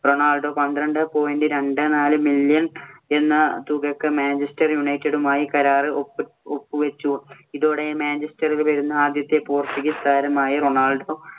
Ronaldo പന്ത്രണ്ട് point രണ്ട് നാല് million എന്ന തുകക്ക് മാഞ്ചെസ്റ്റർ യുണൈറ്റഡുമായി കരാറിൽ ഒപ്പ് വെച്ചു. ഇതോടെ മാഞ്ചെസ്റ്ററിൽ വരുന്ന ആദ്യത്തെ പോർച്ചുഗീസ് താരമായി റൊണാൾഡൊ